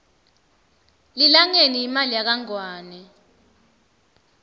lilangeni yimali yakangwane